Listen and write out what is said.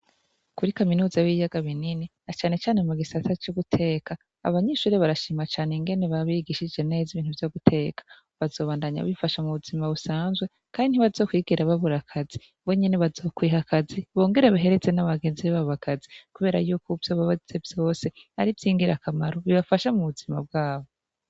Kuri kaminuza y’ibiyaga binini na cane cane mugisata co guteka , abanyedhure barashima cane ingene babigishije neza guteka , bazobandanya bifasha mubuzima busanzwe Kandi ntibazokwigera babura akazi. Bonyene bazokwiha akazi bongere bahereze n’abagenzi babo akazi kubera yuko ivyo boba Barize vyose irivyingirakamaro bibafasha mubuzima bwabo.